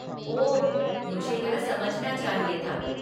ओह, मुझे यह समझना चाहिए था।